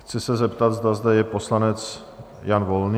Chci se zeptat, zda zde je poslanec Jan Volný?